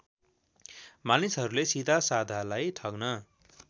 मानिसहरूले सिधासाधालाई ठग्न